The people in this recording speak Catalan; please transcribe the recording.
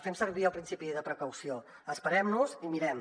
fem servir el principi de precaució esperem nos i mirem